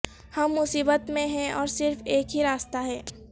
ہم مصیبت میں ہیں اور صرف ایک ہی راستہ ہے